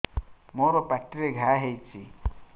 ମୋର ପାଟିରେ ଘା ହେଇଚି